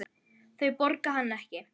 Þau borga hann ekki.